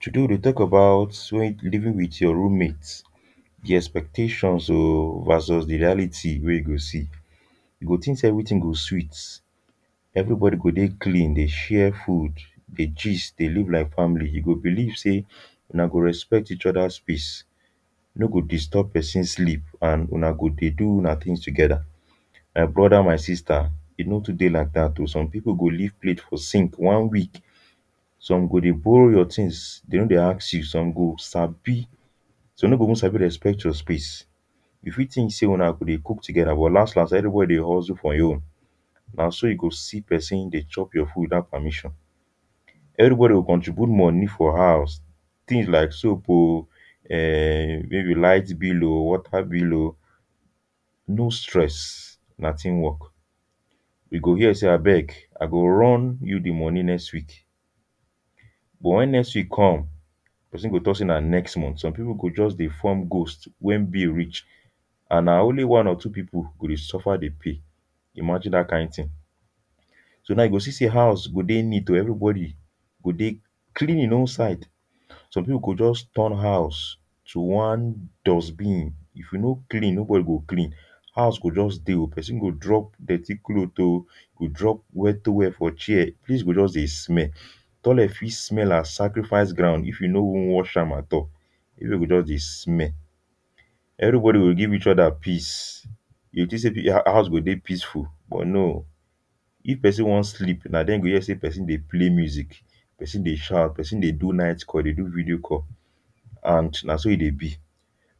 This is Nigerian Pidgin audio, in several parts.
today we deh talk about when you living with your room mate the expectations um versus the reality where you go see you go think say everything go sweet everybody go deh clean deh share food deh gist deh live like family you go belive say unah go respect each other's peace no go disturb person sleep and unah go deh do unah things together my brother my sister e no too deh like that um some people go leave plate for sink one week some go deh borrow your things them no deh ask you some go sabi some no go even sabi to respect your space you fit think say unah go deh cook together but las las everybody deh hustle for hin own nah so you go see person deh chop your food without permission everybody go contribute money for house things like soap um um maybe light bill um water bill um no stress nah team work you go hear say abeg I go run you the money next week but when next week come person go talk say nah next month some people go just deh form ghost when bill reach and nah only one or two people go deh suffer deh pay imagine that kind thing so now you go see say house suppose deh neat um everybody go deh clean outside some people go just turn house to one dustbin if you no clean nobody go clean house go just deh um person go drop dirty cloth um go drop wet towel for chair things go just deh smell toilet fit smell as sacrifice ground if you no wan wash am at all everywhere go just deh smell everybody go give each other peace you go think say um house go deh peaceful but no if person wan sleep nah there him go hear say person deh play music person deh shout person deh do night call or e deh do video call and nah so e deh be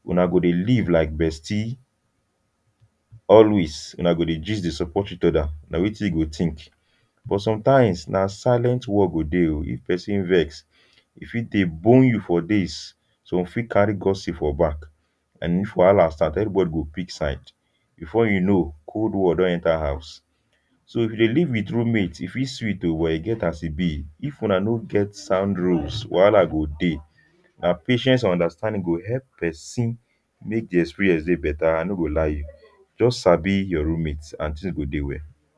unah go deh live like bestie always unah go deh gist deh support each other nah wetin you go think but sometimes nah silent war you go deh um if person vex e fit deh bone you for days some fit carry gossip for back and if wahala start everybody go pick sides before you know cold war don enter house so if you deh live with room mate e fit sweet um but e get as e be if unah no get sound rules wahala go deh nah patience and understanding go help person make the experience deh better I no go lie you just sabi your room mate and things go deh well.